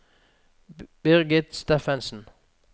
Birgit Steffensen